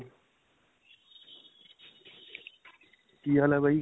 ਕੀ ਹਾਲ ਹੈ ਬਾਈ?